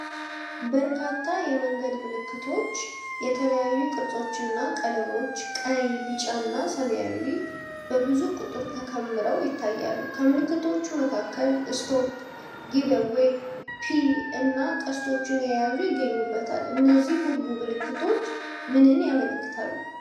በርካታ የመንገድ ምልክቶች፣ የተለያዩ ቅርጾችና ቀለሞች (ቀይ፣ ቢጫና ሰማያዊ) በብዙ ቁጥር ተከምረው ይታያሉ። ከምልክቶቹ መካከል "Stop"፣ "Give Way"፣ "P" እና ቀስቶችን የያዙ ይገኙበታል። እነዚህ ሁሉ ምልክቶች ምንን ያመለክታሉ?